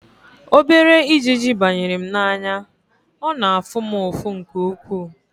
Obere ijiji banyere m n'anya, ọ na-afụ m ụfụ nke ukwuu